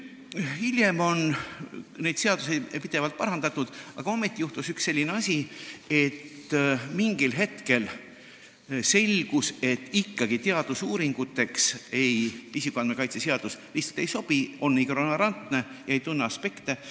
Hiljem on seda seadust pidevalt parandatud, aga ometi juhtus selline asi, et mingil hetkel selgus, et teadusuuringuteks isikuandmete kaitse seadus ikkagi ei sobi: on ignorantne, ei tunne neid aspekte.